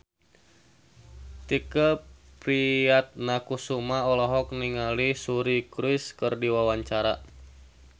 Tike Priatnakusuma olohok ningali Suri Cruise keur diwawancara